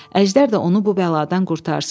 Əjdər də onu bu bəladan qurtarsın.